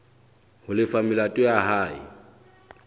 ho lefa melato ya hae